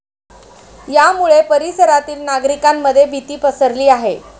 यामुळे परिसरातील नागरिकांमध्ये भीती पसरली आहे.